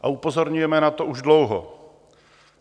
A upozorňujeme na to už dlouho.